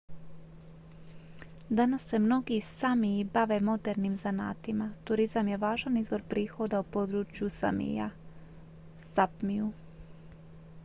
danas se mnogi sámiji bave modernim zanatima. turizam je važan izvor prihoda u području samija sápmiju